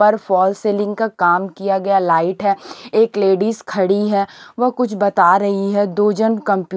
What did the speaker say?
पर fall ceiling का काम किया गया लाइट है एक लेडीज खड़ी है वह कुछ बता रही है दो जन क--